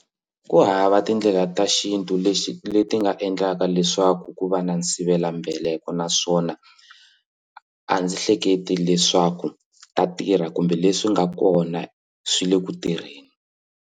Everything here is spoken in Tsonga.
Ku hava tindlela ta xintu lexi leti nga endlaka leswaku ku va na sivelambeleko naswona a ndzi hleketi leswaku ta tirha kumbe leswi nga kona swi le ku tirheni.